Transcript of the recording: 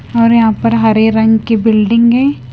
और यहां पर हरे रंग की बिल्डिंग है।